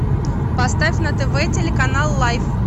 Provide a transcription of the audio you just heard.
поставь на тв телеканал лайф